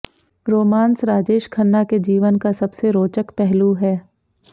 romance Rajesh Khanna के जीवन का सबसे रोचक पहलू है